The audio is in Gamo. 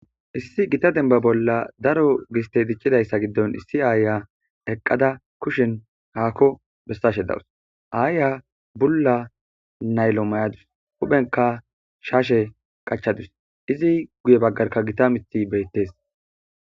Issi gita denba bolla daro giste diccidayssa giddon issi aaya eqqada kushen haakko bessashe dawus aaya bulla naylo may'adus huphenka shaashe qachadus izi guye baggarka gita mithi beyttees.